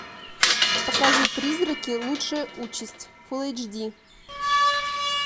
покажи призраки лучшая участь фул эйч ди